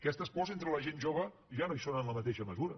aquestes pors entre la gent jove ja no hi són en la mateixa mesura